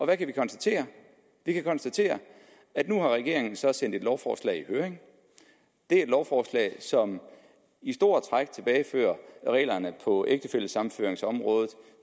kan vi konstatere vi kan konstatere at nu har regeringen så sendt et lovforslag i høring det er et lovforslag som i store træk tilbagefører reglerne på ægtefællesammenføringsområdet